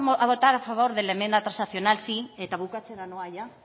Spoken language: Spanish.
a votar a favor de la enmienda transaccional sí eta bukatzera noa ia